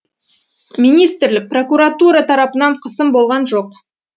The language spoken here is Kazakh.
министрлік прокуратура тарапынан қысым болған жоқ